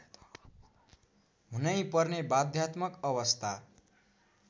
हुनैपर्ने बाध्यात्मक अवस्था